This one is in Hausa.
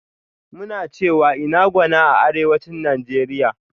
Muna cewa "INA GWANA" a Arewacin Nigeria.